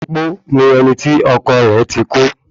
Opó ni ẹni tí ọkọ rẹ̀ ti kú